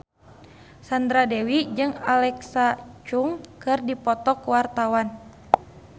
Sandra Dewi jeung Alexa Chung keur dipoto ku wartawan